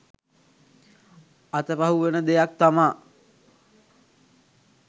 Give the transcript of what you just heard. අතපහු වෙන දෙයක් තමා